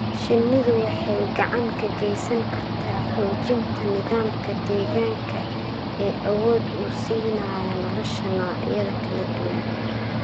shinnidu waxay gacan ka geysan kartaa xoojinta nidaamka deegaanka ee awood u siinaya nolosha noocyada kala duwan.